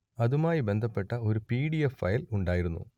അതുമായി ബന്ധപ്പെട്ട ഒരു പി ഡി എഫ് ഫയൽ ഉണ്ടായിരുന്നു